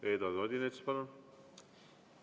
Eduard Odinets, palun!